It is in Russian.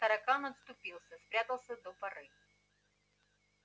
таракан отступился спрятался до поры